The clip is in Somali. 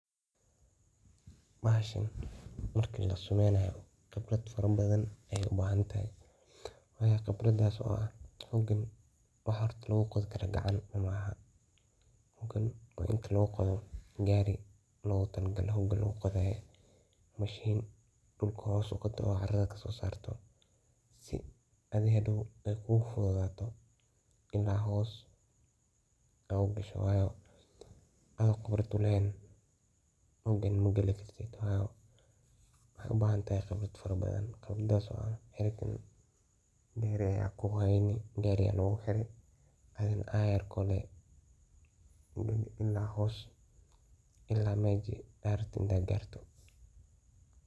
Bahashan marka lasumenayo khibrad badan ay u bahan tahay waa ini garii lagu qodo oo balaya ah si adhi hadow ay kugu fududato inaa hoos u gasho ado khibrad u lehen. Hogan magali kartid ,waxad u bahan tahay khibrad fara badan .Gariga aya kuheyni, gariga aa lagu hiri adhigana ayarko lee ila hoos ,ila maji aa rabte inaa garto.